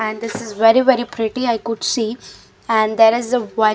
and this is very very pretty I could see and there is a--